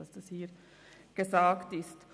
Nur, damit das hier gesagt ist.